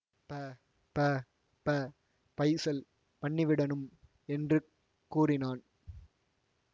ப ப ப பைஸல் பண்ணிவிடணும் என்று கூறினான்